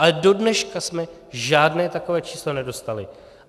Ale do dneška jsme žádné takové číslo nedostali.